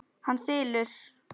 Hann þylur: